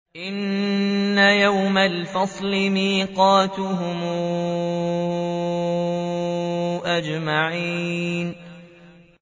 إِنَّ يَوْمَ الْفَصْلِ مِيقَاتُهُمْ أَجْمَعِينَ